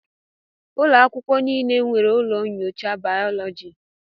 Ụlọ akwụkwọ niile e nwere ụlọ nyocha bayoloji